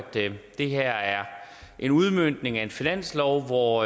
det her er en udmøntning af en finanslov hvor